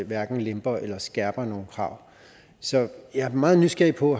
hverken lemper eller skærper nogen krav så jeg er meget nysgerrig på